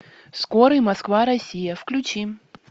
скорый москва россия включи